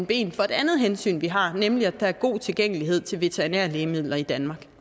ben for et andet hensyn vi har nemlig at der er god tilgængelighed til veterinære lægemidler i danmark